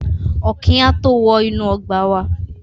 Ọ̀kín á tó wọ inú ọgbà wá.